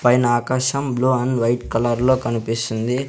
పైన ఆకాశం blue and white colour లో కనిపిస్తుంది.